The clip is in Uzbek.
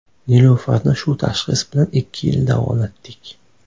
Nilufarni shu tashxis bilan ikki yil davolatdik.